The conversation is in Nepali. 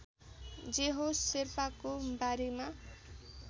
जेहोस शेर्पाको बारेमा